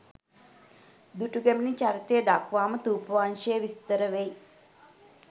දුටුගැමුණු චරිතය දක්වාම ථූපවංශයේ විස්තර වෙයි.